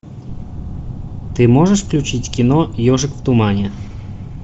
ты можешь включить кино ежик в тумане